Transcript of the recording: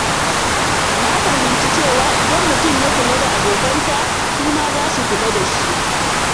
Na fahimci cewa idan mutum ya kula da abokansa, su ma za su kula da shi.